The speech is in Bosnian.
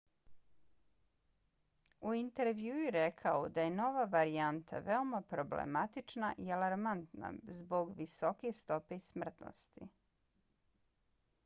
u intervjuu je rekao da je nova varijanta veoma problematična i alarmantna zbog visoke stope smrtnosti.